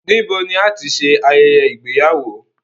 Níbo ni ibi ayẹyẹ ìgbéyàwó?